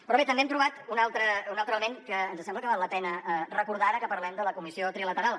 però bé també hem trobat un altre element que ens sembla que val la pena recordar ara que parlem de la comissió trilateral